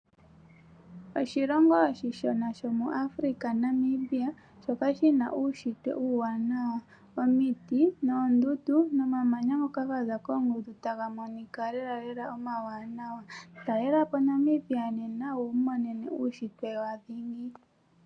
Oshilongo oshi shona shomo Africa Namibia, shoka shina uunshitwe uuwanawa. Omiti noondundu nomamanya ngoka gaza koondundu taga monika lelalela omawanawa. Talelapo Namibia nena wi imonene uunshitwe wa dhingi.